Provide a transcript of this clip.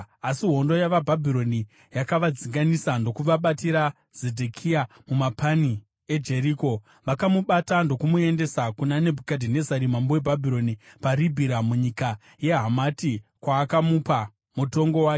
Asi hondo yavaBhabhironi yakavadzinganisa ndokubatira Zedhekia mumapani eJeriko. Vakamubata ndokumuendesa kuna Nebhukadhinezari mambo weBhabhironi paRibhira munyika yeHamati kwaakamupa mutongo wake.